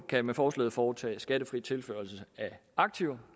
kan med forslaget foretage skattefri tilførsel af aktiver